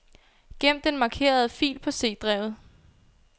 Gem den markerede fil på C-drevet.